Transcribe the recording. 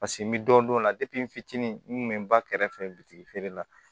Paseke n bɛ dɔ dɔn o la n fitinin n kun bɛ n ba kɛrɛfɛ witi feere la